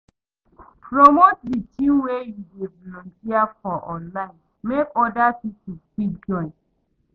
Promote di thing wey you de volunteer for online make oda pipo fit join